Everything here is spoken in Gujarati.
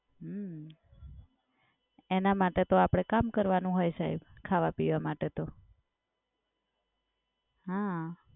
હમ્મ એના માટે તો આપડે કામ કરવાનું હોય સાહેબ. ખાવા પીવા માટે તો. હા.